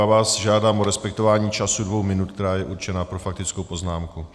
Já vás žádám o respektování času dvou minut, který je určen pro faktickou poznámku.